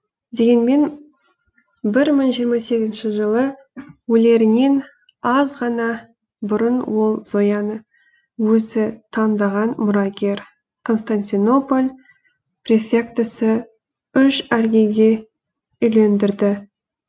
дегенмен бір мың жиырма сегізінші жылы өлерінен аз ғана бұрын ол зояны өзі таңдаған мұрагер константинополь префектісі үш аргирге үйлендірді